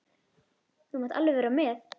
Þú mátt alveg vera með.